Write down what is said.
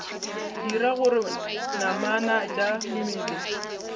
dira gore namana tša mmele